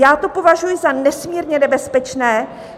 Já to považuji za nesmírně nebezpečné.